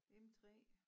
M 3